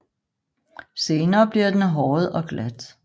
Senere bliver den håret og glat